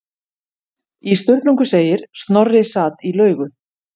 Í Sturlungu segir: Snorri sat í laugu